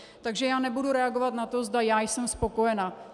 Takže já nebudu reagovat na to, zda já jsem spokojena.